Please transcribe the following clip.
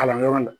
Kalanyɔrɔ la